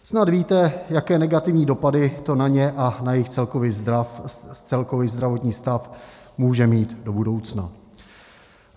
Snad víte, jaké negativní dopady to na ně a na jejich celkový zdravotní stav může mít v budoucnu.